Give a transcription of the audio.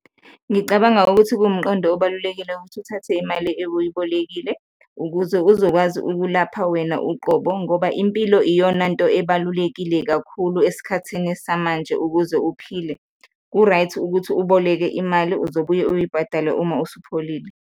Ngicabanga ukuthi kuwumqondo obalulekile ukuthi uthathe imali ewuyibolekile ukuze uzokwazi ukulapha wena uqobo ngoba impilo iyonanto ebalulekile kakhulu esikhathini samanje ukuze uphile. Ku-right ukuthi uboleke imali, uzobuye uyibhadale uma usupholile.